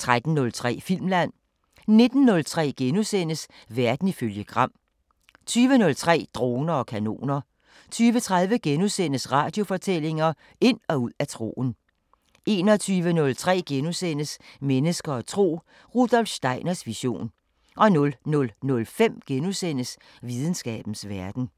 13:03: Filmland 19:03: Verden ifølge Gram * 20:03: Droner og kanoner 20:30: Radiofortællinger: Ind og ud af troen * 21:03: Mennesker og tro: Rudolf Steiners vision * 00:05: Videnskabens Verden *